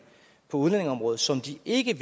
på udlændingeområdet som de ikke